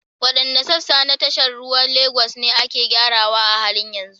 Waɗanne sassa na tashar ruwan Legas ne ake gyarawa a halin yanzu?